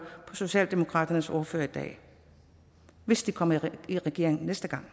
på socialdemokratiets ordfører i dag hvis de kommer i regeringen efter